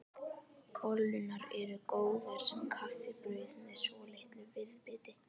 Bollurnar eru góðar sem kaffibrauð með svolitlu viðbiti.